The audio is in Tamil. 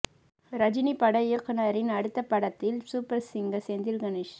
ரஜினி பட இயக்குனரின் அடுத்த படத்தில் சூப்பர் சிங்கர் செந்தில் கணேஷ்